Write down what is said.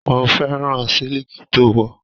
Mo fẹ́ràn siliki to wọ̀.